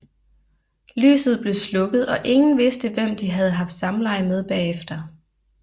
Lyset blev slukket og ingen vidste hvem de havde haft samleje med bagefter